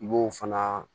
I b'o fana